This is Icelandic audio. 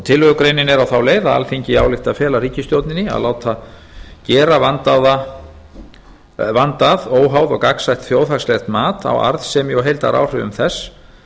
tillögugreinin er á þá leið að alþingi ályktar að fela ríkisstjórninni að láta gera vandað óháð og gagnsætt þjóðhagslegt mat á arðsemi og heildaráhrifum þess